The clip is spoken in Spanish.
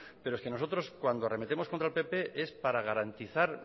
pero es que nosotros cuando arremetemos contra el pp es para garantizar